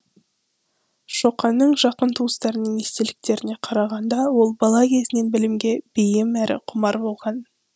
шоқанның жақын туыстарының естеліктеріне қарағанда ол бала кезінен білімге бейім әрі құмар болған